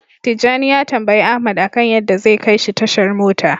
Tijjani ya tambayi Ahmad akan yadda zai kaishi tashar mota.